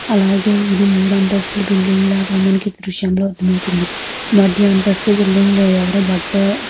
అలాగే ఇది మూడు అంతస్థుల బిల్డింగ్ లాగా మనకి ఈ దృశ్యం లో అర్ధం అవుతుంది. మధ్య అంతస్థు బిల్డింగ్ లో ఎవరో బట్ట --